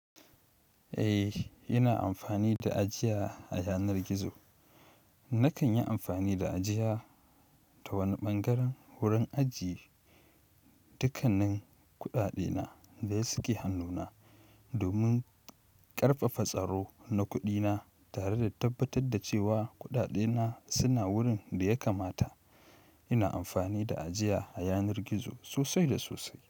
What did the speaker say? Eh, ina amfani da ajiya a yanar gizo. Nakan yi amfani da ajiya ta wani ɓangaren wurin ajiye dukannin kuɗaɗena da suke hannuna domin ƙarfafa tsaro na kuɗi na tare da tabbatar da cewa kuɗaɗe na suna wurin daya kamata ina amfani da ajiya a yanar gizo sosai da sosai.